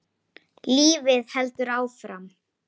Hann lítur niður til mín.